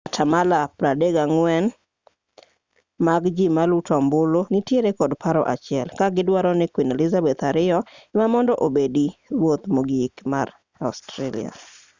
atamalo 34 mag ji maluto ombuluno nitiere kod paro achiel ka gidwaro ni queen elizabeth ii ema mondo obedi ruoth mogik mar australia